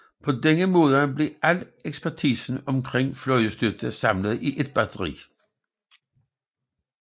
På denne måde blev al ekspertisen omkring flystøtte samlet i et batteri